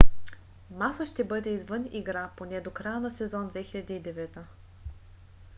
маса ще бъде извън игра поне до края на сезон 2009